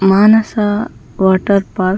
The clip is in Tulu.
Manasa water park .